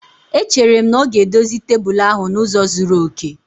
Echere m na ọ ga-edozi tebụl ahụ n'ụzọ zuru oke